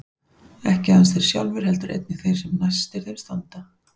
Ekki aðeins þeir sjálfir heldur einnig þeir sem næstir þeim standa.